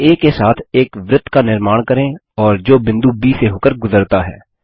केंद्र आ के साथ एक वृत्त का निर्माण करें और जो बिंदु ब से होकर गुजरता है